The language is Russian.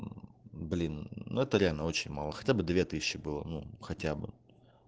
блин ну это реально очень мало хотя бы две тысячи ну было хотя бы